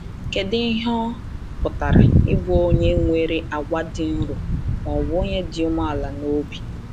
Kedu ihe ọ pụtara ịbụ onye nwere àgwà dị nro, ma ọ bụ onye dị umeala n’obi?